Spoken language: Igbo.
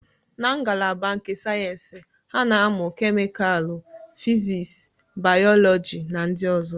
Na ngalaba nke sayensị, ha na-amụ kemịkalụ, fịsis, bayoloji na ndị ọzọ.